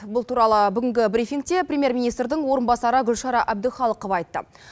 бұл туралы бүгінгі брифингте премьер министрдің орынбасары гүлшара әбдіқалықова айтты